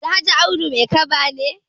Alhaji Audu Maikaba ne.